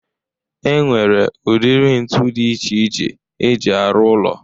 E nwere udiri ntụ dị iche iche e ji arụ ụlọ